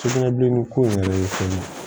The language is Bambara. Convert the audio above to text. Sugunɛbilenni ko in yɛrɛ ye fɛn ye